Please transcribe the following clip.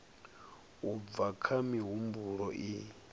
u bva kha mihumbulo i